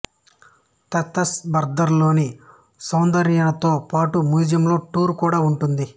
తిత్సర్నాబర్ద్ లోని సందర్యనతో పాటి మ్యూజియంలో టూరు కూడా ఉంటుంది